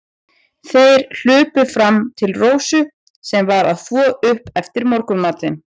Þeir hlupu fram til Rósu, sem var að þvo upp eftir morgunmatinn.